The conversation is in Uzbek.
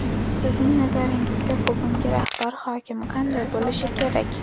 Sizning nazaringizda, bugungi rahbar, hokim qanday bo‘lishi kerak?